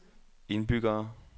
indbyggere